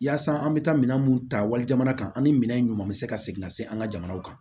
Yaasa an bɛ taa minɛn mun ta wali jamana kan ani minɛn ɲuman bɛ se ka segin ka se an ka jamana kan